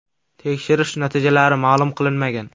Tekshirish natijalari ma’lum qilinmagan.